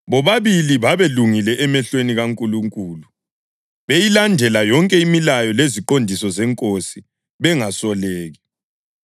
Bobabili babelungile emehlweni kaNkulunkulu beyilandela yonke imilayo leziqondiso zeNkosi bengasoleki.